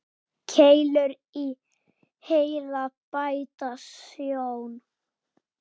Keilur í heila bæta sjón.